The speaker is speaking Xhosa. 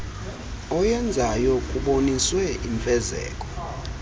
oyenzayo kuboniswe imfezeko